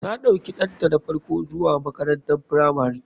Ta ɗauki ɗanta na farko zuwa makarantar firamari.